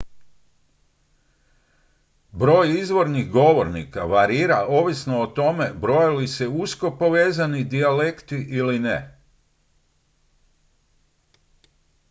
broj izvornih govornika varira ovisno o tome broje li se usko povezani dijalekti ili ne